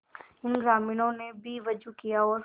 इन ग्रामीणों ने भी वजू किया और